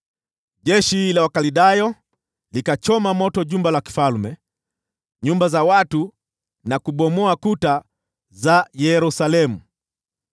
Jeshi la Wakaldayo likachoma moto jumba la kifalme na nyumba za watu, na kuzibomoa kuta za Yerusalemu.